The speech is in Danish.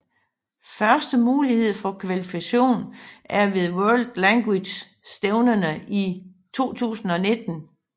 Første mulighed for kvalifikation er ved World League stævnerne i 2019